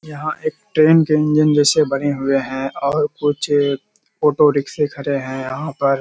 यहाँ एक ट्रेन के इंजन जैसे बने हुए हैं और कुछ ओटो रिक्‍से खड़े हैं यहाँ पर।